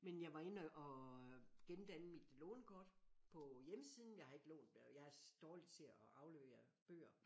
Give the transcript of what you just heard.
Men jeg var inde og øh gendanne mit lånerkort på hjemmesiden men jeg har ikke lånt jeg er dårlig til at aflevere bøger